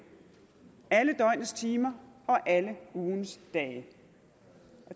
alle døgnets timer og alle ugens dage